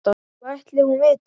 Hvað ætli hún viti?